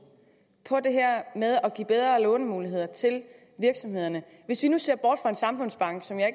på det her med at give bedre lånemuligheder til virksomhederne hvis vi nu ser bort fra en samfundsbank som jeg